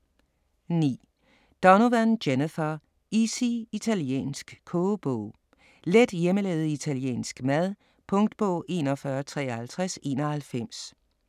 9. Donovan, Jennifer: Easy italiensk kogebog: let hjemmelavet italiensk mad Punktbog 415391